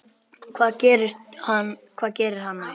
Hvað gerir hann næst?